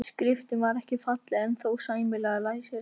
Skriftin var ekki falleg en þó sæmilega læsileg.